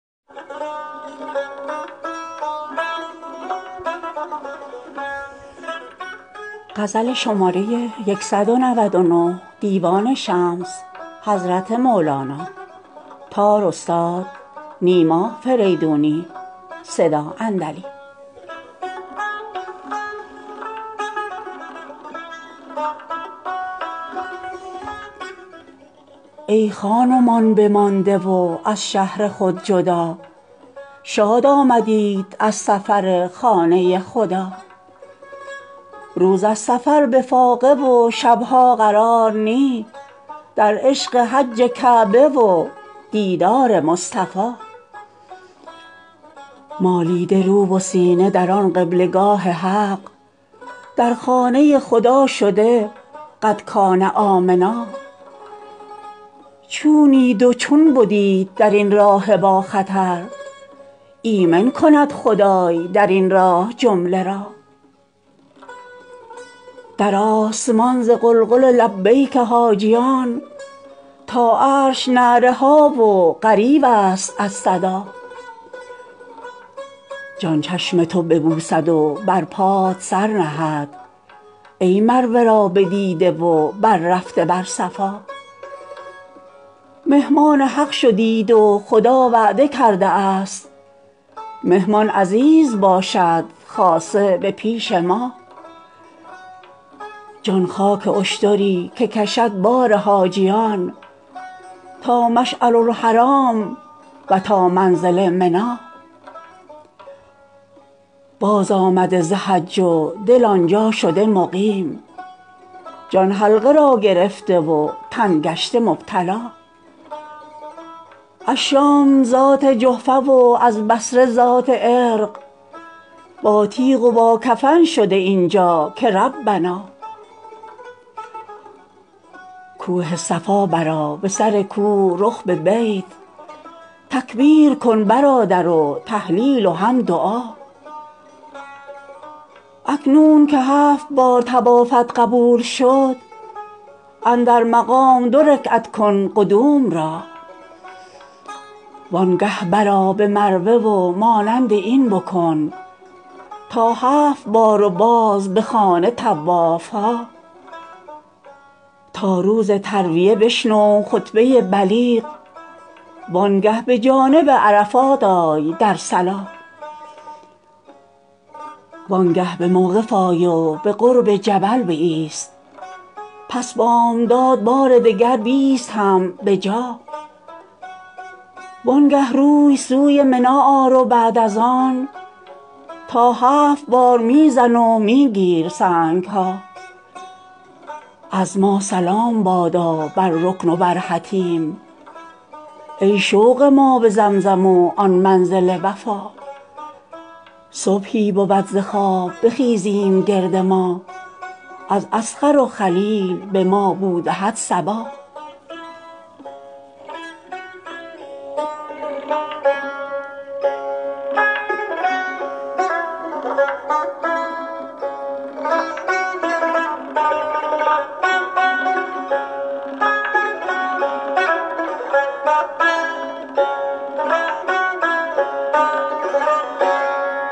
ای خان و مان بمانده و از شهر خود جدا شاد آمدیت از سفر خانه خدا روز از سفر به فاقه و شب ها قرار نی در عشق حج کعبه و دیدار مصطفا مالیده رو و سینه در آن قبله گاه حق در خانه خدا شده قد کان آمنا چونید و چون بدیت در این راه باخطر ایمن کند خدای در این راه جمله را در آسمان ز غلغل لبیک حاجیان تا عرش نعره ها و غریوست از صدا جان چشم تو ببوسد و بر پات سر نهد ای مروه را بدیده و بررفته بر صفا مهمان حق شدیت و خدا وعده کرده است مهمان عزیز باشد خاصه به پیش ما جان خاک اشتری که کشد بار حاجیان تا مشعرالحرام و تا منزل منا بازآمده ز حج و دل آن جا شده مقیم جان حلقه را گرفته و تن گشته مبتلا از شام ذات جحفه و از بصره ذات عرق باتیغ و باکفن شده این جا که ربنا کوه صفا برآ به سر کوه رخ به بیت تکبیر کن برادر و تهلیل و هم دعا اکنون که هفت بار طوافت قبول شد اندر مقام دو رکعت کن قدوم را وانگه برآ به مروه و مانند این بکن تا هفت بار و باز به خانه طواف ها تا روز ترویه بشنو خطبه بلیغ وانگه به جانب عرفات آی در صلا وانگه به موقف آی و به قرب جبل بایست پس بامداد بار دگر بیست هم به جا وان گاه روی سوی منی آر و بعد از آن تا هفت بار می زن و می گیر سنگ ها از ما سلام بادا بر رکن و بر حطیم ای شوق ما به زمزم و آن منزل وفا صبحی بود ز خواب بخیزیم گرد ما از اذخر و خلیل به ما بو دهد صبا